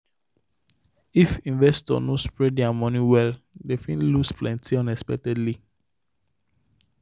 if investor no spread their money well dem fit lose plenty unexpectedly.